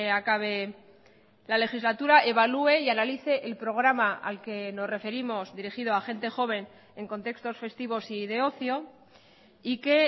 acabe la legislatura evalúe y analice el programa al que nos referimos dirigido a gente joven en contextos festivos y de ocio y que